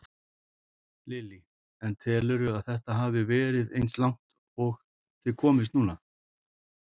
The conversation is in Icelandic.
Lillý: En telurðu að þetta hafi svona verið eins og langt og þið komist núna?